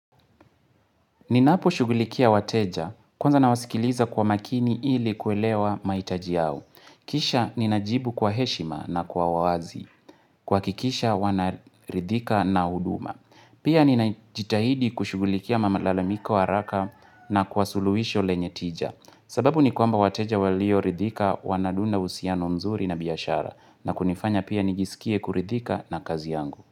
Ninapo shugulikia wateja kwanza na wasikiliza kwa makini ili kuelewa maitaji yao. Kisha ninajibu kwa heshima na kwa wazi. Kwa kikisha wanaridhika na huduma. Pia ninajitahidi kushugulikia mamalalamiko haraka na kwasuluisho lenyetija. Sababu ni kwamba wateja walio ridhika wanadunda usiano mzuri na biyashara. Na kunifanya pia nijisikie kuridhika na kazi yangu.